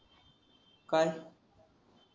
काय